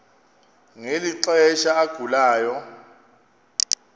ngeli xesha agulayo